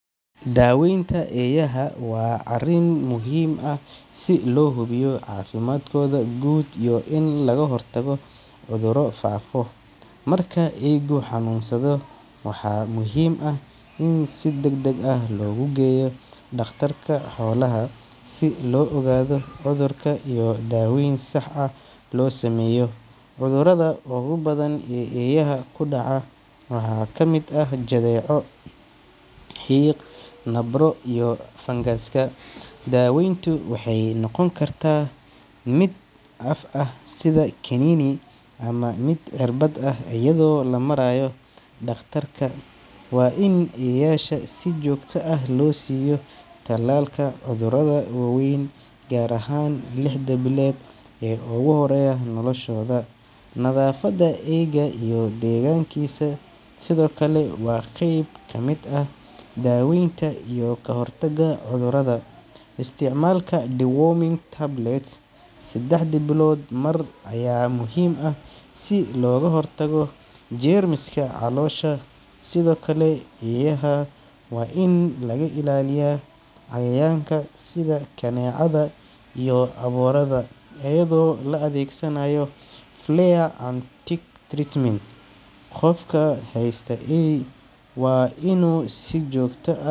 Daawaynta eeyaha waa arrin muhiim ah si loo hubiyo caafimaadkooda guud iyo in laga hortago cudurro faafa. Marka eeygu xanuunsado, waxaa muhiim ah in si degdeg ah loogu geeyo dhakhtarka xoolaha si loo ogaado cudurka iyo in daawayn sax ah loo sameeyo. Cudurrada ugu badan ee eeyaha ku dhaca waxaa ka mid ah jadeeco, xiiq, nabro, iyo fangaska. Daaweyntu waxay noqon kartaa mid af ah sida kaniini, ama mid cirbad ah iyadoo la marayo dhakhtarka. Waa in eeyaha si joogto ah loo siiyo tallaalka cudurrada waaweyn, gaar ahaan lixda bilood ee ugu horreeya noloshooda. Nadaafadda eeyga iyo deegaankiisa sidoo kale waa qayb ka mid ah daaweynta iyo ka hortagga cudurrada. Isticmaalka deworming tablets saddexdii biloodba mar ayaa muhiim ah si looga hortago jeermiska caloosha. Sidoo kale, eeyaha waa in laga ilaaliyaa cayayaanka sida kaneecada iyo aboorada iyadoo la adeegsanayo flea and tick treatment. Qofka haysta eey waa inuu si joogto ah.